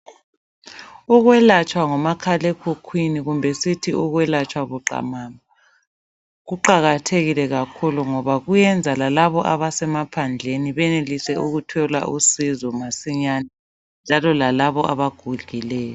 Ukwelatshwa ngomakhalekhukhwini kumbe sithi ukwelatshwa buqamama kuqakathekile kakhulu ngoba kuyenza lalabo abasemaphandleni benelise ukuthola usizo masinyane njalo lalabo abagugileyo.